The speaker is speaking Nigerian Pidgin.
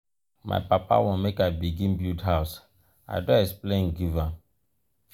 my papa want make i begin build house i don explain give am.